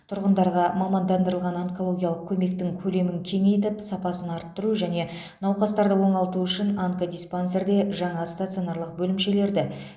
тұрғындарға мамандандырылған онкологиялық көмектің көлемін кеңейтіп сапасын арттыру және науқастарды оңалту үшін онкодиспансерде жаңа стационарлық бөлімшелерді